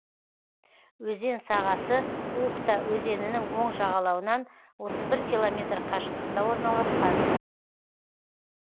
өзен сағасы ухта өзенінің оң жағалауынан отыз бір километр қашықтықта орналасқан